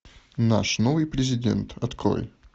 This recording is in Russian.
наш новый президент открой